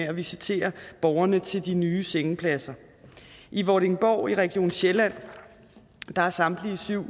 at visitere borgerne til de nye sengepladser i vordingborg i region sjælland er samtlige syv